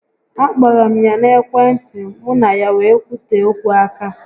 A kpọrọ m ya na ekwe ntị, mụ na ya wee kwutee okwu aka